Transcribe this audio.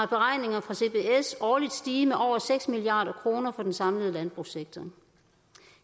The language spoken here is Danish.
beregninger fra cbs årligt stige med over seks milliard kroner for den samlede landbrugssektor